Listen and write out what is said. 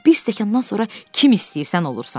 Bir stəkandan sonra kim istəyirsən olursan.